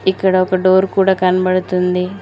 ఇక్కడ ఒక డోర్ కూడా కన్బడుతుంది.